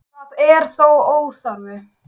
Það er þó óþarfi